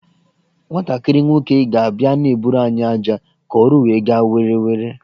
Nwantakịrị nwoke ga abia na-eburu anyị ájá ka ọrụ wee gaa were were